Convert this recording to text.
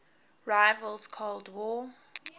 rival's cold war